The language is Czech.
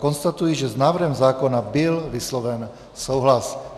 Konstatuji, že s návrhem zákona byl vysloven souhlas.